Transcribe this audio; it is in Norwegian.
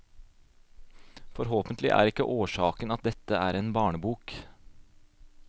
Forhåpentlig er ikke årsaken at dette er en barnebok.